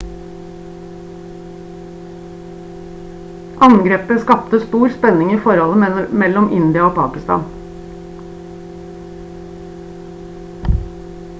angrepet skapte stor spenning i forholdet mellom india og pakistan